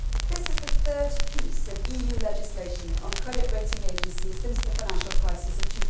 Mr President, this is the third piece of EU legislation on credit rating agencies since the financial crisis of